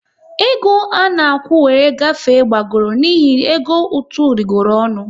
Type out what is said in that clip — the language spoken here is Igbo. E go à na-akwụ wéré agafe gbagọrọ n'ihi ego ụtụ rịgooronu